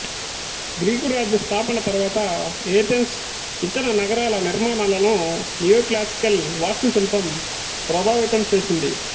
Greek రాజ్య స్థాపన తరువాత ఏథెన్సు ఇతర నగరాల నిర్మాణాలను నియోక్లాసికల్ వాస్తుశిల్పం ప్రభావితం చేసింది